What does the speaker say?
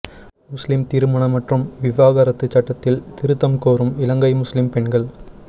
முஸ்லிம் திருமண மற்றும் விவாகரத்துச் சட்டத்தில் திருத்தம் கோரும் இலங்கை முஸ்லிம் பெண்கள்